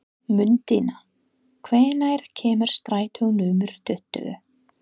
Mundína, hvenær kemur strætó númer tuttugu?